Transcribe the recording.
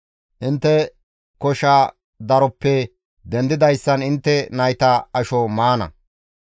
Intte kosha daroppe dendidayssan intte nayta asho maana.